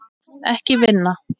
Ekki vinna.